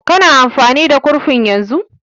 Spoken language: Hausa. Ka na amfani da kurfin yanzu?